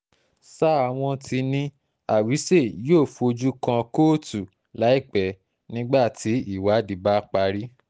sáà wọn ti ní awise yóò fojú kan kóòtù láìpẹ́ nígbà tí ìwádìí bá parí